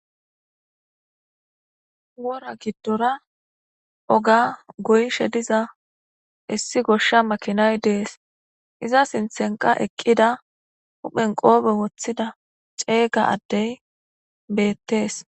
wora giddora oga guyishe diza issi goshsha makinay dees iza sinthenqa eqqida huphen qoobe woththida ceeyga addey beettees